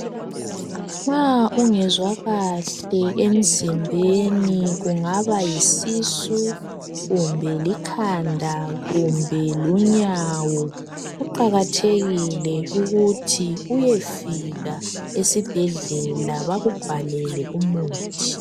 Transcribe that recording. Nxa ungezwa kahle emzimbeni, kungaba yisisu kumbe likhanda kumbe lunyawo kuqakathekile ukuthi uyefika esibhedlela bakubhalele umuthi.